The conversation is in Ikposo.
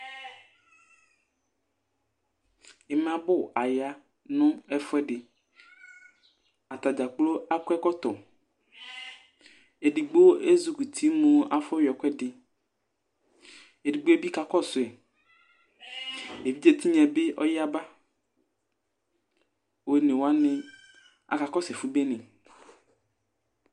Imabʋ aya ŋu ɛfʋɛɖi Atakplo akɔ ɛkɔtɔ Ɛɖigbo ezikʋti mu afɔ yɔ ɛkʋɛɖi Ɛɖigbo'ɛ bi kakɔsu yi Evidze tinya'ɛ bi ɔyaba Ɔne waŋi akakɔsu ɛfu bene